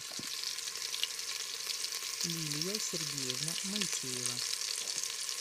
лилия сергеевна моисеева